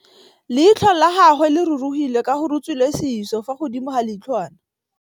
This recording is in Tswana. Leitlhô la gagwe le rurugile ka gore o tswile sisô fa godimo ga leitlhwana.